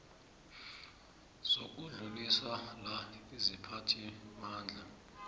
zokudluliswa la isiphathimandla